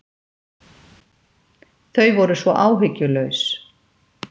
Þau voru svo áhyggjulaus.